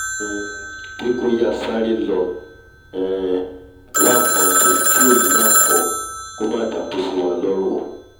um pé kó yáa sáré lọ um wá nkan jẹ kí òyì má kọ́ọ kó má dàákú síwa lọ́rùn o